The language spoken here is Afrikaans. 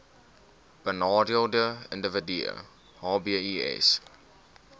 benadeelde individue hbis